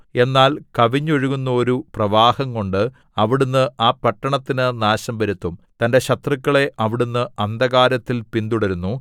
എന്നാൽ കവിഞ്ഞൊഴുകുന്നോരു പ്രവാഹംകൊണ്ട് അവിടുന്ന് ആ പട്ടണത്തിന് നാശം വരുത്തും തന്റെ ശത്രുക്കളെ അവിടുന്ന് അന്ധകാരത്തിൽ പിന്തുടരുന്നു